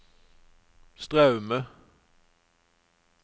Straume